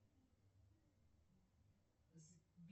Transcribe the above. кем работает рафаловский